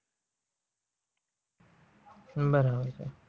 બરાબર છે.